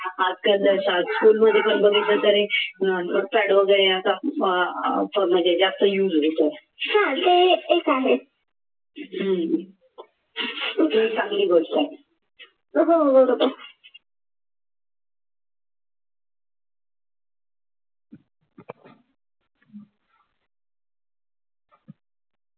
आजकाल जसा school मध्ये पण बघितलं तर म्हणजे जास्त use एक आहे ते चांगली गोष्ट आहे